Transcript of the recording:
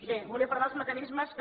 bé volia parlar dels mecanismes que